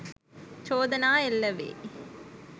චෝදනා එල්ල වෙයි